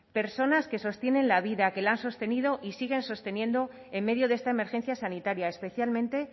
personas que sostienen la vida que la han sostenido y siguen sosteniendo en medio de esta emergencia sanitaria especialmente